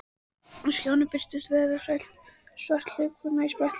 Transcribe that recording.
Á skjánum birtist vöðvastælt svört hlaupakona í spretthlaupi.